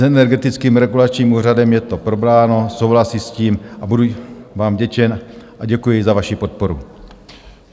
S Energetickým regulačním úřadem je to probráno, souhlasí s tím, a budu vám vděčen a děkuji za vaši podporu.